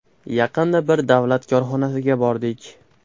Yaqinda bir davlat korxonasiga bordik.